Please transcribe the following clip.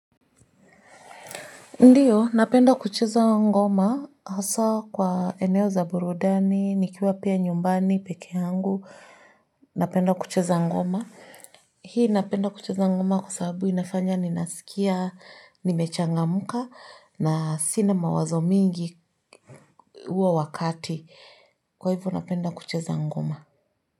Ndiyo, napenda kucheza ngoma, hasa kwa eneo za burudani, nikiwa pia nyumbani, peke angu, napenda kucheza ngoma. Hii napenda kucheza ngoma kwa sababu inafanya ninasikia, nimechangamka na sina mawazo mingi huo wakati. Kwa hivyo, napenda kucheza ngoma.